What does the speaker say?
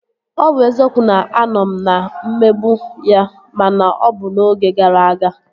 Ọ bụ eziokwu na a nọ m na-emegbu ya ma na ọ bụ n'oge gara aga